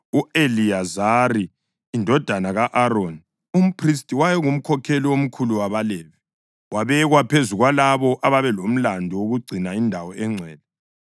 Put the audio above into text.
U-Eliyazari indodana ka-Aroni, umphristi, wayengumkhokheli omkhulu wabaLevi. Wabekwa phezu kwalabo ababelomlandu wokugcina indawo engcwele.